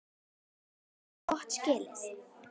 Þeir eigi ekkert gott skilið.